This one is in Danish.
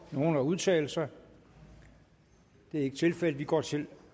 nogen at udtale sig det er ikke tilfældet og vi går til